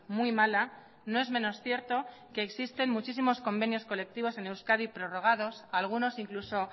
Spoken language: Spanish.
muy mala no es menos cierto que existen muchísimos convenios colectivos en euskadi prorrogados algunos incluso